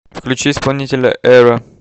включи исполнителя эра